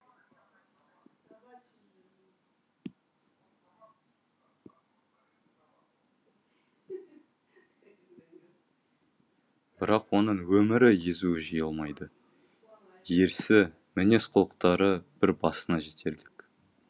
бірақ оның өмірі езуі жиылмайды ерсі мінез құлықтары бір басына жетерлік